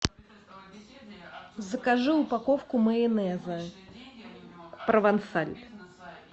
закажи упаковку майонеза провансаль